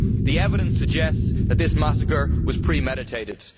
The evidence suggests that this massacre was premeditated.